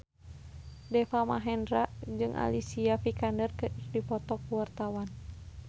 Deva Mahendra jeung Alicia Vikander keur dipoto ku wartawan